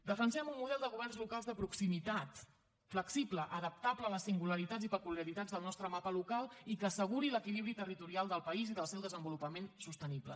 defensem un model de governs locals de proximitat flexible adaptable a les singularitats i peculiaritats del nostre mapa local i que asseguri l’equilibri territorial del país i del seu desenvolupament sostenible